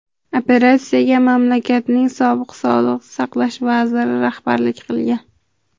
Operatsiyaga mamlakatning sobiq sog‘liqni saqlash vaziri rahbarlik qilgan.